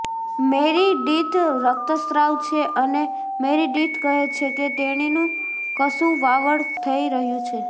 Meredith રક્તસ્ત્રાવ છે અને મેરિડિથ કહે છે કે તેણીનું કસુવાવડ થઈ રહ્યું છે